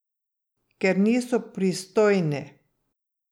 Ker niso pristojni.